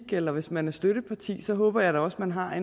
eller hvis man er støtteparti så håber jeg da også at man har